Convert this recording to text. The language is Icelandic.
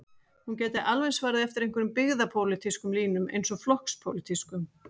Hún gæti alveg farið eftir einhverjum byggðapólitískum línum eins og flokkspólitískum.